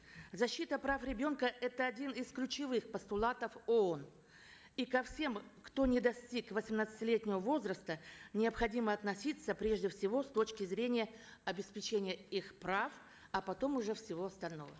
защита прав ребенка это один из ключевых постулатов оон и ко всем кто не достиг восемнадцатилетнего возраста необходимо относиться прежде всего с точки зрения обеспечения их прав а потом уже всего остального